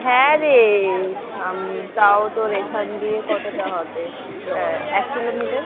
হ্যাঁ রে তও তোর এখন দিয়ে কতটা হবে এক কিলোমিটার